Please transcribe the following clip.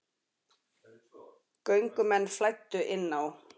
Göngumenn flæddu inn á